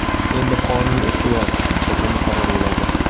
Endi qonun ustuvor, jazo muqarrar bo‘ladi.